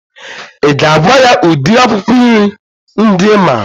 I ga-agwa ya udiri akwụkwọ nri ndị I maara?